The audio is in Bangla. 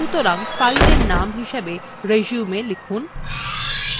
সুতরাং fileএর name হিসেবে resume লিখুন